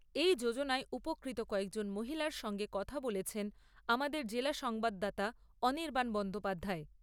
এই যোজনায় উপকৃত কয়েকজন মহিলার সঙ্গে কথা বলেছেন আমাদের জেলা সংবাদদাতা অনির্বাণ বন্দ্যোপাধ্যায়।